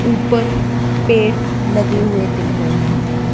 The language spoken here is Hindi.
ऊपर पेड़ लगे हुए दिख रहे है।